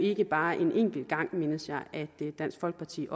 ikke bare er en enkelt gang at dansk folkeparti